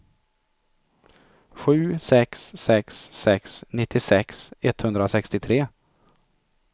sju sex sex sex nittiosex etthundrasextiotre